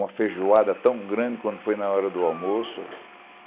Uma feijoada tão grande quando foi na hora do almoço.